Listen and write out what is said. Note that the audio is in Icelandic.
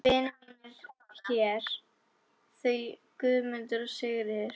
Vinir mínir hér, þau Guðmundur og Sigríður.